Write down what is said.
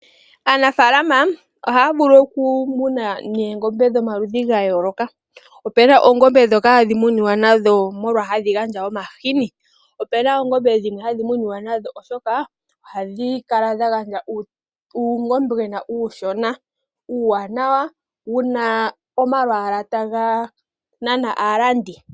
Aanafalama ohaya vulu okumuna noongombe dhomaludhi ga yooloka. Opu na oongombe ndhoka hadhi muniwa nadho molwashoka hadhi gandja omahi. opu na oongombe ndhoka hadhi muniwa nadho oshoka ohadhi kala dha gandja uungombwena uushona uuwanawa wu na omalwaala taga nana aalandi.